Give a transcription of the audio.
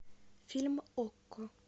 фильм окко